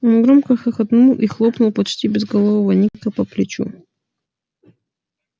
он громко хохотнул и хлопнул почти безголового ника по плечу